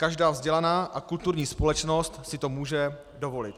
Každá vzdělaná a kulturní společnost si to může dovolit.